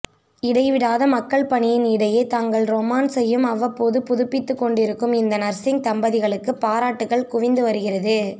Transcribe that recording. இடைவிடாத மக்கள் பணியின் இடையே தங்கள் ரொமான்ஸ்ஸையும் அவ்வப்போது புதுப்பித்துக் கொண்டிருக்கும் இந்த நர்சிங் தம்பதிகளுக்கு பாராட்டுக்கள் குவிந்து வருகிறது